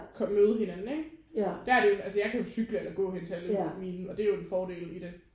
Kort møde hinanden ikke der er det altså jeg kan jo cykle eller gå hen til alle mine og det er jo en fordel i det